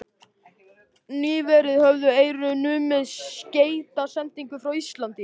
Nýverið höfðu Eyrun numið skeytasendingar frá Íslandi.